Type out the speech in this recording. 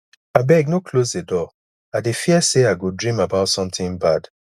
abeg no close the door i dey fear say i go dream about something bad